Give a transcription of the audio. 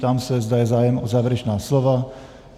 Ptám se, zda je zájem o závěrečná slova.